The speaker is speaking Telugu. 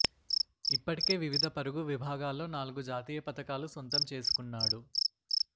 ఇప్పటికే వివిధ పరుగు విభాగాల్లో నాలుగు జాతీయ పతకాలు సొంతం చేసుకున్నాడు